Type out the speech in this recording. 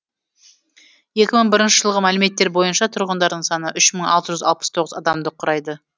екі мың бірінші жылғы мәліметтер бойынша тұрғындарының саны үш мың алты жүз алпыс тоғыз адамды құрайды